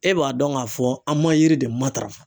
E b'a dɔn k'a fɔ an ma yiri de matarafa